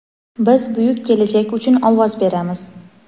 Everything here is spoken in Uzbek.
Biz buyuk kelajak uchun ovoz beramiz!.